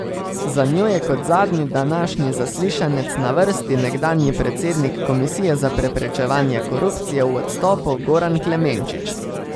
Za njo je kot zadnji današnji zaslišanec na vrsti nekdanji predsednik Komisije za preprečevanje korupcije v odstopu Goran Klemenčič.